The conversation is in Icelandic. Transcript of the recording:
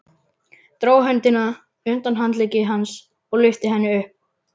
Dró höndina undan handlegg hans og lyfti henni upp.